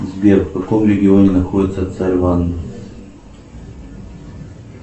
сбер в каком регионе находится царь ванна